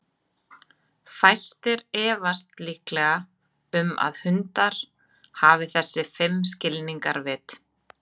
Fæstir efast líklega um að hundar hafi þessi fimm skilningarvit.